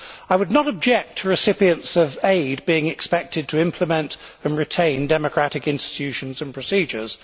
I would not object to recipients of aid being expected to implement and retain democratic institutions and procedures.